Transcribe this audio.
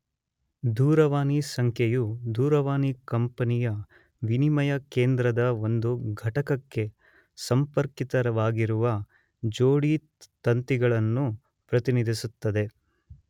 ದೂರವಾಣಿ ಸಂಖ್ಯೆಯು ದೂರವಾಣಿ ಕಂಪೆನಿಯ ವಿನಿಮಯ ಕೇಂದ್ರದ ಒಂದು ಘಟಕಕ್ಕೆ ಸಂಪರ್ಕಿತವಾಗಿರುವ ಜೋಡಿತಂತಿಗಳನ್ನು ಪ್ರತಿನಿಧಿಸುತ್ತದೆ.